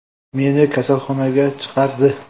Meni kasalxonaga chaqirdi.